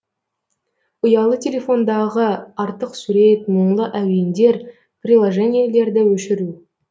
ұялы телефондағы артық сурет мұңлы әуендер приложениелерді өшіру